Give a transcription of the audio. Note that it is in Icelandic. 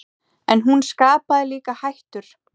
En hún skapaði líka hættur.